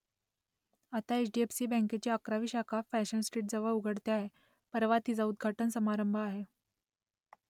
आता H D F C बँकेची अकरावी शाखा फॅशन स्ट्रीटजवळ उघडते आहे परवा तिचा उद्घाटन समारंभ आहे